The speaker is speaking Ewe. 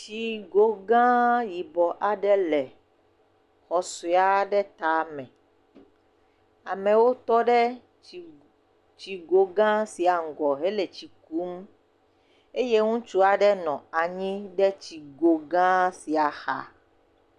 Tsi go gã yibɔ aɖe le xɔ sɔe aɖe tame, amewo tɔ ɖe tsi go gã sia ŋgɔ he le tsi kum eye ŋutsua ɖe nɔ anyi ɖe tsi go gã sia xa.